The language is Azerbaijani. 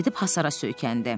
Gedib hasara söykəndi.